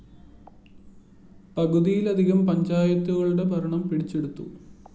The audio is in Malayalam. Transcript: പകുതിയിലധികം പഞ്ചായത്തുകളുടെ ഭരണം പിടിച്ചെടുത്തു